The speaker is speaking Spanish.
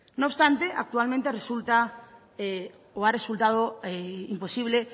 no obstante actualmente resulta o ha resultado imposible